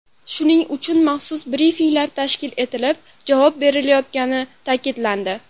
Shuning uchun maxsus brifinglar tashkil etilib, javob berilayotgani ta’kidlandi.